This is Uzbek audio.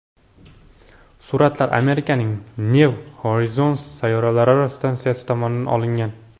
Suratlar Amerikaning New Horizons sayyoralararo stansiyasi tomonidan olingan.